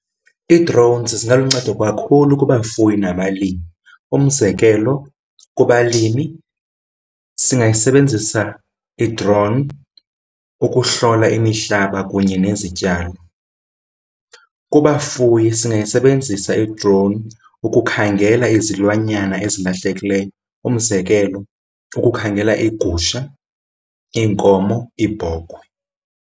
Ii-drones zingaluncedo kakhulu kubafuyi nabalimi. Umzekelo kubalimi singayisebenzisa i-drone ukuhlola imihlaba kunye nezityalo. Kubafuyi singayisebenzisa i-drone ukukhangela izilwanyana ezilahlekileyo. Umzekelo ukukhangela iigusha, iinkomo, iibhokhwe.